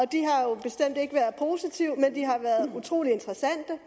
har bestemt ikke været positive men de har været utrolig interessante